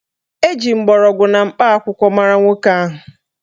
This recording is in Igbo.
Eji mgbọrọgwụ na mkpa akwụkwọ mara nwoke ahụ